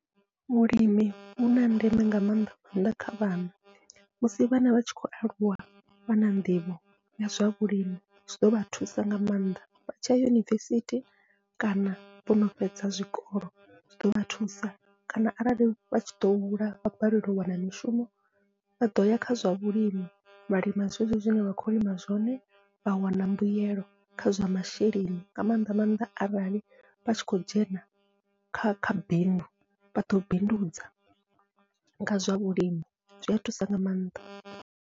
Vhulimi vhuna ndeme nga maanḓa maanḓa kha vhana, musi vhana vhatshi khou aluwa vha na nḓivho ya zwa vhulimi zwi ḓovha thusa nga maanḓa vha tshiya yunivesithi kana vhono fhedza zwikolo, zwi ḓovha thusa kana arali vhatshi ḓo hula vha balelwa u wana mishumo vha ḓoya kha zwa vhulimi vha lima zwezwo zwine vha khou lima zwone vha wana mbuyelo kha zwa masheleni, nga maanḓa maanḓa arali vhatshi khou dzhena kha kha bindu vhaḓo bindudza nga zwa vhulimi zwia thusa nga maanḓa.